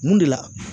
Mun de la